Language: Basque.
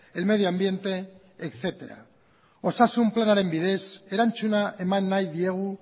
el medio ambiente etcétera osasun planaren bidez erantzuna eman nahi diegu